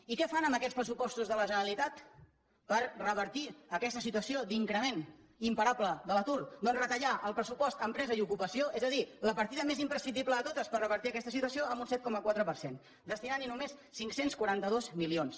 i què fan amb aquests pressupostos de la generalitat per revertir aquesta situació d’increment imparable de l’atur doncs retallar el pressupost d’empresa i ocupació és a dir la partida més imprescindible de totes per revertir aquesta situació en un set coma quatre per cent destinant hi només cinc cents i quaranta dos milions